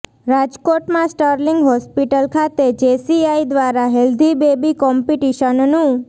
રાજકોટમાં Sterling hospital ખાતે JCI દ્વારા હેલ્ધી બેબી કોમ્પીટીશનનું